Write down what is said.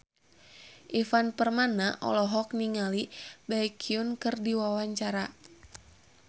Ivan Permana olohok ningali Baekhyun keur diwawancara